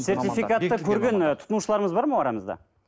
сертификатты көрген тұтынушыларымыз бар ма арамызда